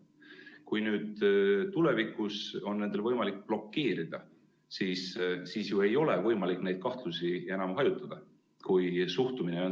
Kui neil on ka tulevikus võimalik kõike blokeerida ja kui suhtumine on selline, siis ei saa ju enam kahtlusi hajutada.